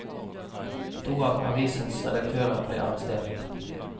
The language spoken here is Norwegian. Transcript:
To av avisens redaktører ble arrestert.